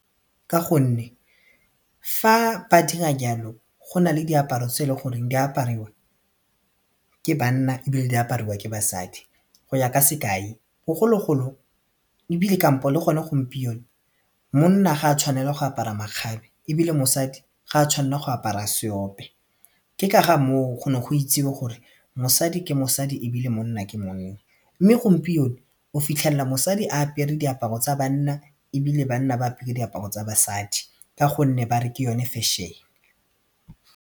Ka gonne fa ba dira jalo go na le diaparo tse e leng goreng di apariwang ke banna ebile di apariwang ke basadi go ya ka sekai bogologolo ebile kampo le gone gompieno monna ga a tshwanela go apara makgabe ebile mosadi ga a tshwanela go apara seope ke ka ga moo go ne go itsewe gore mosadi ke mosadi ebile monna ke monna mme gompieno o fitlhela mosadi a apere diaparo tsa banna ebile banna ba apere diaparo tsa basadi ka gonne ba re ke yone fashion.